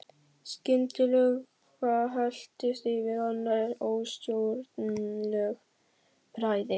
Skyndilega helltist yfir hana óstjórnleg bræði.